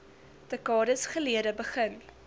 dekades gelede begin